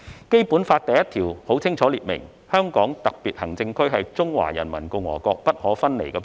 《基本法》第一條清楚列明，"香港特別行政區是中華人民共和國不可分離的部分"。